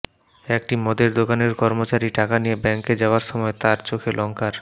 একটি মদের দোকানের কর্মচারী টাকা নিয়ে ব্যাঙ্কে যাওয়ার সময় তাঁর চোখে লঙ্কার